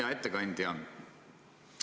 Hea ettekandja!